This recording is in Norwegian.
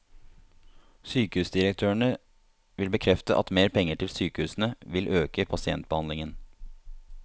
Sykehusdirektørene vil bekrefte at mer penger til sykehusene vil øke pasientbehandlingen.